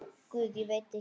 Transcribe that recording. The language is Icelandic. Guð, veit ekki.